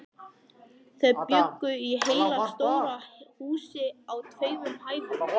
Þau bjuggu í heilu stóru húsi á tveimur hæðum.